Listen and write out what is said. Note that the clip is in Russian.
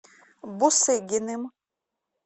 бусыгиным